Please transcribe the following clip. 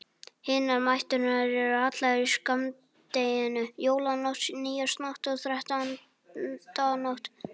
Hinar næturnar eru allar í skammdeginu: Jólanótt, nýársnótt og þrettándanótt.